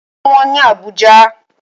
Ǹkan wọ́n ní Àbújá.